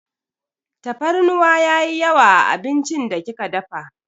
Tafarnuwa yayi yawa a abincin da kika dafa.